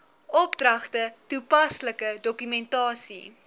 opdragte toepaslike dokumentasie